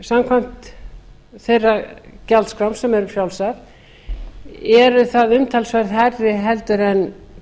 samkvæmt þeirra gjaldskrám sem eru fjrálsar eru það umtalsvert hærri en